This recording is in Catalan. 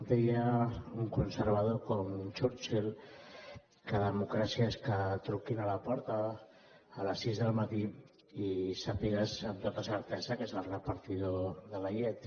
deia un conservador com churchill que democràcia és que truquin a la porta a les sis del matí i sàpigues amb tota certesa que és el repartidor de la llet